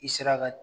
I sera ka